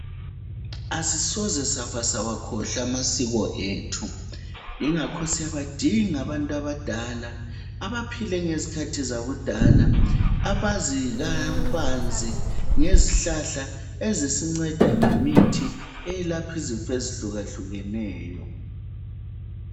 Asisoze safa sawakhohlwa amasiko ethu yingakho siyabadinga abantu abadala abaphile ngezikhathi zakudala abazi kabanzi ngezihlahla ezisinceda ngemithi eyelapha izifo ezihlukahlukeneyo.